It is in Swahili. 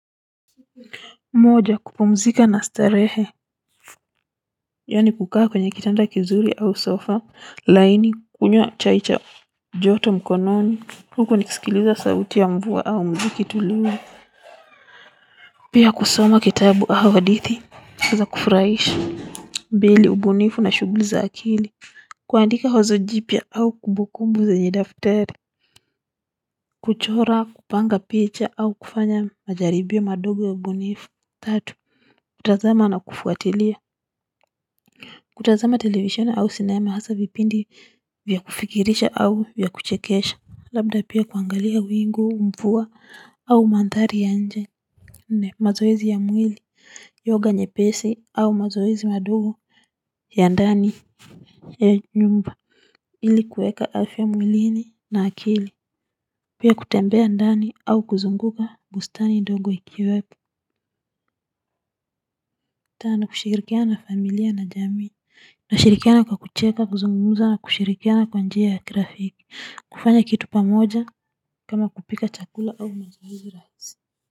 Moja kupumzika na starehe yaani kukaa kwenye kitanda kizuri au sofa laini, kunywa chai cha joto mkononi huku nikisikiliza sauti ya mvua au mziki tulivu pia kusoma kitabu au hadithi za kufurahisha. Pili ubunifu na shughuli za akili, kuandika wazo jipya au kumbukumbu zenye daftari kuchora, kupanga picha au kufanya majaribio madogo ya ubunifu. Tatu kutazama na kufuatilia, kutazama televisoni au sinema hasaa vipindi vya kufikirisha au vya kuchekesha, labda pia kuangalia wingu, mvua au mandhari ya nje. Mazoezi ya mwili, yoga nyepesi au mazoezi madogo ya ndani ya nyumba ili kuweka afya mwilini na akili. Pia kutembea ndani au kuzunguka bustani ndogo ikiwepo. Tano kushirikiana na familia na jamii nashirikiana kwa kucheka kuzungumza na kushirikiana kwa njia ya kirafiki, kufanya kitu pamoja kama kupika chakula au mazoezi rahisi.